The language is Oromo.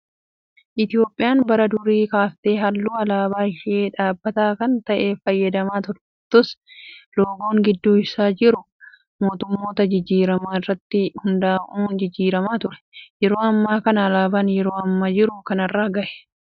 Itoophiyaan bara durii kaaftee halluu alaabaa ishee dhaabbataa kan ta'e fayyadamaa turtus, loogoon gidduu isaa jiru mootummoota jijjiiraman irratti hundaa'uun jijjiiramaa ture. Yeroo ammaa kanas alaabaa yeroo amma jiru kanarra gahe.